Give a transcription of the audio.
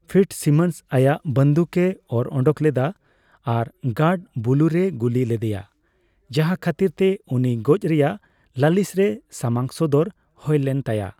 Fitzsimmons ᱟᱭᱟᱜ ᱵᱟᱱᱫᱩᱠᱼᱮ ᱚᱨ ᱩᱰᱩᱠ ᱞᱮᱫᱟ ᱟᱨ ᱜᱟᱨᱰ ᱵᱩᱞᱩ ᱨᱮᱭ ᱜᱩᱞᱤ ᱞᱮᱫᱮᱭᱟ, ᱡᱟᱦᱟᱸ ᱠᱷᱟᱛᱤᱨ ᱛᱮ ᱩᱱᱤ ᱜᱚᱡ ᱨᱮᱭᱟᱜ ᱞᱟᱹᱞᱤᱥ ᱨᱮ ᱥᱟᱢᱟᱝ ᱥᱚᱫᱚᱨ ᱦᱳᱭ ᱞᱮᱱ ᱛᱟᱭᱟ ᱾